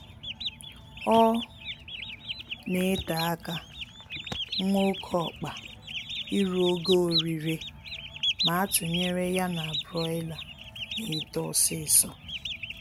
Ọ na ete aka nwa oké ọkpa iru ogo orire ma a tụnyere ya na Broiler na-eto ọsịịsọ